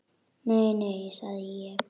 Nei, nei, sagði ég.